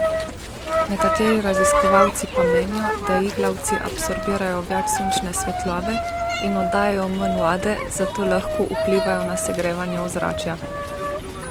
Nekateri raziskovalci pa menijo, da iglavci absorbirajo več sončne svetlobe in oddajajo manj vode, zato lahko vplivajo na segrevanje ozračja.